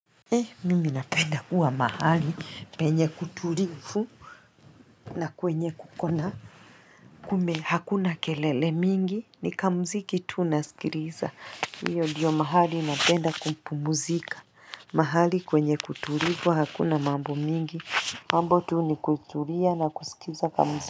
He mimi napenda kuwa mahali penye kutulifu na kwenye kuko na kume hakuna kelele mingi ni kamziki tu nasikiliza hiyo ndiyo mahali napenda kuupumuzika mahali kwenye kutulifu hakuna mambo mingi mambo tu ni kutulia na kusikiza kamziki.